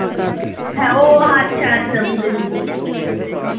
হ্যাঁ ও আচ্ছা আচ্ছা বুঝেছি বুঝেছি হম